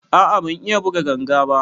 A a ban iya buga ganga ba.